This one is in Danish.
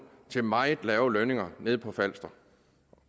til meget lave lønninger nede på falster